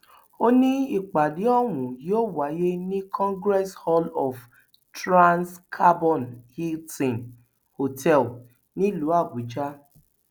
ó ní ìpàdé ọhún yóò wáyé ní congress hall of transcarbon hilton hotel nílùú àbújá